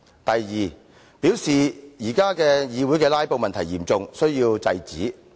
第二，他表示現時議會的"拉布"問題嚴重，必須制止。